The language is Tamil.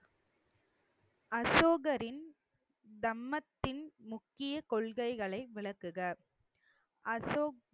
அசோகரின் தம்மத்தின் முக்கிய கொள்கைகளை விளக்குக. அசோக்